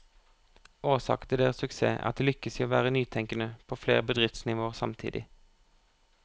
Årsaken til deres suksess er at de lykkes i å være nytenkende på flere bedriftsnivåer samtidig.